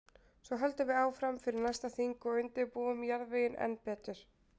Svo höldum við áfram fyrir næsta þing og undirbúum jarðveginn enn betur.